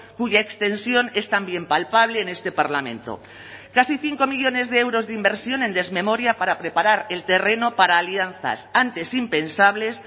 cuya extensión es también palpable en este parlamento casi cinco millónes de euros de inversión en desmemoria para preparar el terreno para alianzas antes impensables